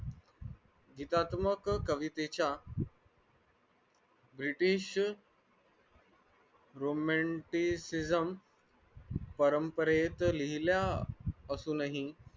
विकासमक कवितेच्या british परंपरेत लिहिलेल्या असुनही